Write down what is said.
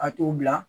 A t'o bila